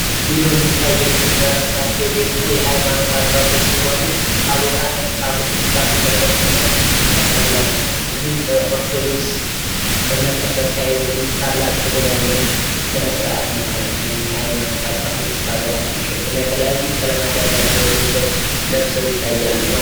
ይህ በምስሉ ላይ የምንመለከታቸዉ ደሞ የሃይማኖት አባቶች ሲሆኑ ፤ ታቦተ ጽላቱን ተሸክመው ያሳያል ማለት ነው ፤ ይህም በኦርቶዶክስ እምነት ተከታዮች ዘንድ ታላቅ ክብር ያለዉ ስነስርዓት ነው ማለት ነው ፤ ወይም የሃይማኖት አባቶች ታቦታትን ተሸክመው የተለያዩ ቀለማት ያላቸዉን ልብሶች ለብሰዉ ይታያሉ ማለት ነው።